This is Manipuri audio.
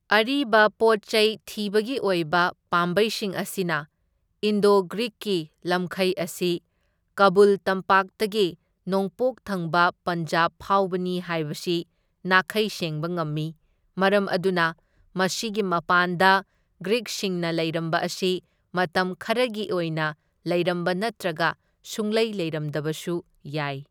ꯑꯔꯤꯕ ꯄꯣꯠ ꯆꯩ ꯊꯤꯕꯒꯤ ꯑꯣꯏꯕ ꯄꯥꯝꯕꯩꯁꯤꯡ ꯑꯁꯤꯅ ꯏꯟꯗꯣ ꯒ꯭ꯔꯤꯛꯒꯤ ꯂꯝꯈꯩ ꯑꯁꯤ ꯀꯥꯕꯨꯜ ꯇꯝꯄꯥꯛꯇꯒꯤ ꯅꯣꯡꯄꯣꯛ ꯊꯪꯕ ꯄꯟꯖꯥꯞ ꯐꯥꯎꯕꯅꯤ ꯍꯥꯏꯕꯁꯤ ꯅꯥꯈꯩ ꯁꯦꯡꯕ ꯉꯝꯃꯤ, ꯃꯔꯝ ꯑꯗꯨꯅ ꯃꯁꯤꯒꯤ ꯃꯄꯥꯟꯗ ꯒ꯭ꯔꯤꯛꯁꯤꯡꯅ ꯂꯩꯔꯝꯕ ꯑꯁꯤ ꯃꯇꯝ ꯈꯔꯒꯤ ꯑꯣꯏꯅ ꯂꯩꯔꯝꯕ ꯅꯠꯇ꯭ꯔꯒ ꯁꯨꯡꯂꯩ ꯂꯩꯔꯝꯗꯕꯁꯨ ꯌꯥꯏ꯫